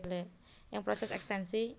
Ing proses ekstensi